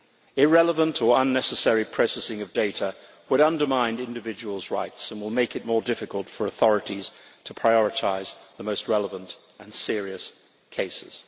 Irrelevant or unnecessary processing of data would undermine individuals' rights and will make it more difficult for authorities to prioritise the most relevant and serious cases.